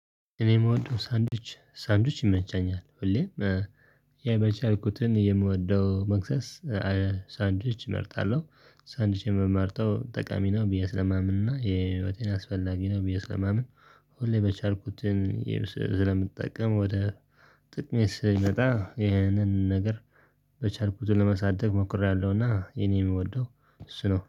እኔ የምወደው ሳንድዊች ሳንድዊች ይመንጫኛል ሁሌም ያው በቻልኩትን የምወደው መክሰስ ሳንድዊች እመርጣለሁ። ሳንድዊች የምመርጠው ጠቃሚ ነው ብዬ ስለማምን እና የህይወቴን አስፈላጊ ነው ብዬ ስለማምን። ሁሌ በቻልኩትን ስለምጠቀም ወደ ጥቅሜ ስመጣ ይህንን ነገር በቻልኩት ለመሳደግ ሞክሬያለሁና። የኔ የምወደው እሱ ነው